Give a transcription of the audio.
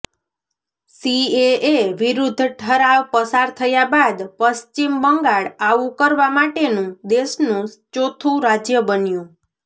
CAA વિરુદ્ધ ઠરાવ પસાર થયા બાદ પશ્ચિમ બંગાળ આવું કરવા માટેનું દેશનું ચોથું રાજ્ય બન્યું